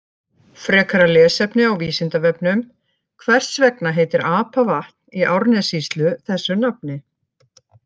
Frekara lesefni á Vísindavefnum: Hvers vegna heitir Apavatn í Árnessýslu þessu nafni?